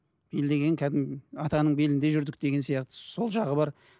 бел деген кәдімгі атаның белінде жүрдік деген сияқты сол жағы бар